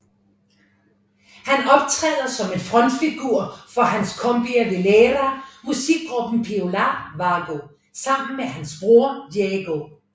Han optræder som en frontfigur for hans cumbia villera musikgruppe Piola Vago sammen med hans bror Diego